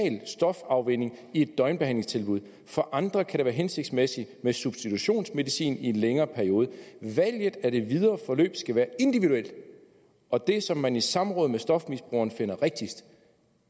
stofafvænning i et døgnbehandlingstilbud for andre kan det være hensigtsmæssigt med substitutionsmedicin i en længere periode valget af det videre forløb skal være individuelt og det som man i samråd med stofmisbrugeren finder rigtigst